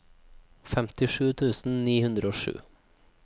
femtisju tusen ni hundre og sju